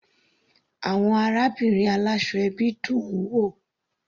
Àwọn arábìnrin aláṣọ ẹbí dùn-ún wò.